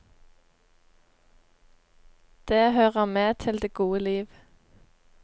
Det hører med til det gode liv.